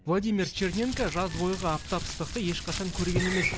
владимир черненко жаз бойғы аптап ыстықты ешқашан көрген емес